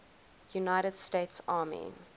united states army